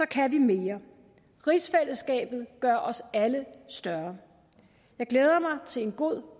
kan vi mere rigsfællesskabet gør os alle større jeg glæder mig til en god